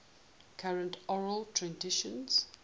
current oral traditions